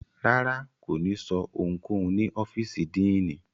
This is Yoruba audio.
Rárá, ko ni sọ ohunkohun ni ọfiisi Diini